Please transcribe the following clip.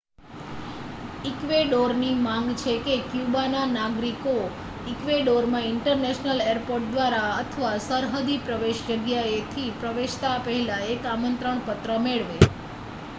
ઈક્વેડોરની માંગ છે કે ક્યુબાના નાગરિકો ઈક્વેડોરમાં ઇન્ટરનેશનલ એરપોર્ટ દ્વારા અથવા સરહદી પ્રવેશ જગ્યાએથી પ્રવેશતા પહેલા એક આમંત્રણ પત્ર મેળવે